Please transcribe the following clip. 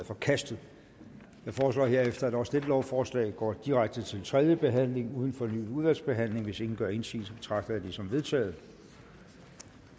forkastet jeg foreslår herefter at også dette lovforslag går direkte til tredje behandling uden fornyet udvalgsbehandling hvis ingen gør indsigelse betragter jeg det som vedtaget